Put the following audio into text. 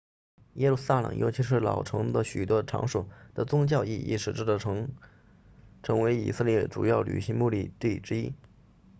耶路撒冷尤其是老城的许多场所的宗教意义使这座城成为以色列主要旅游目的地之一